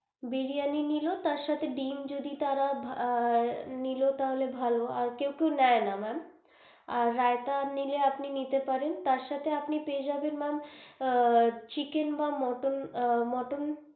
বিরিয়ানি নিলো তার সাথে ডিম যদি তারা নিলো তাহলে ভালো আর কেউ কেউ নেয় না ma'am, আর রায়তা আপনি নিলে নিতে পারেন তার সাথে আপনি পেয়ে যাবেন ma'am আহ chicken বা মটন আহ মটন.